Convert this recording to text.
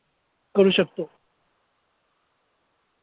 करू शकतो.